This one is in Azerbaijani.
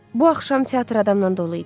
Bu axşam teatr adamla dolu idi.